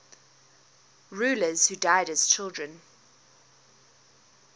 rulers who died as children